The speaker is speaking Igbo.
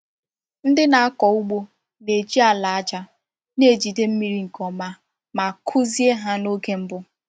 Ndị na-akọ ugbo na-eji ala aja na-ejide mmiri nke ọma ma a kụzie ha n’oge mbụ.